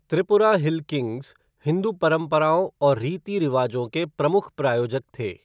Tripura hill kings Hindu परंपराओं और रीति रिवाजों के प्रमुख प्रायोजक थे।